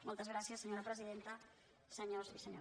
moltes gràcies senyora presidenta senyors i senyores diputats